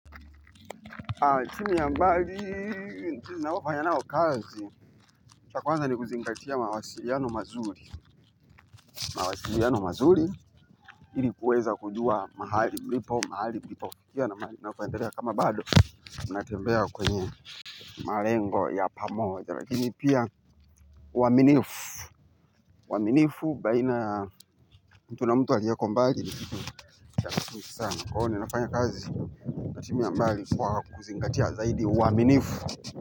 Timu ya mbali, ninayofanya nao kazi, cha kwanza ni kuzingatia mawasiriano mazuri. Mawasiliano mazuri, ili kuweza kujua mahali mlipo, mahali mlipofikia. Na mnavoendelea kama bado, mnatembea kwenye marengo ya pamoja. Lakini pia uaminifu uaminifu, baina mtu na mtu aliyeko mbali, nisana kwahuo, ninafanya kazi na timu ya mbali kwa kuzingatia zaidi uaminifu.